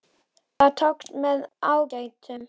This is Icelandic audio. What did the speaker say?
Það tókst með ágætum.